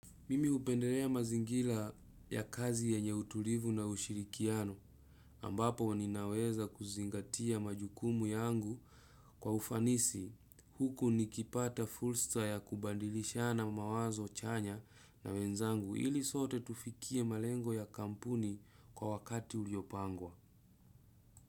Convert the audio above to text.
Mimi hupenderea mazingila ya kazi yenye utulivu na ushirikiano ambapo ninaweza kuzingatia majukumu yangu kwa ufanisi huku nikipata fursa ya kubadilishana mawazo chanya na wenzangu ili sote tufikie malengo ya kampuni kwa wakati uliopangwa.